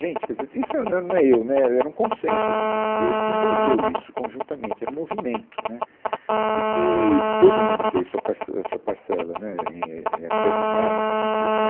Gente, quer dizer, isso é, na, não é eu, né, era um consenso, a gente é desenvolveu isso conjuntamente, era um movimento, né, de que todo mundo teve a sua parce a sua parcela, né, é, em, é, é, para ajudar nessa construção.